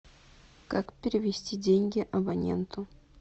как перевести деньги абоненту